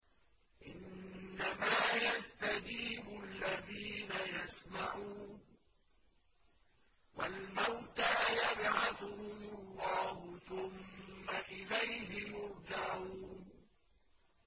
۞ إِنَّمَا يَسْتَجِيبُ الَّذِينَ يَسْمَعُونَ ۘ وَالْمَوْتَىٰ يَبْعَثُهُمُ اللَّهُ ثُمَّ إِلَيْهِ يُرْجَعُونَ